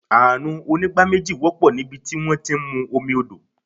Àrùn onígbá méjì wọ́pọ̀ nibiti wón ti ń mú omi odò.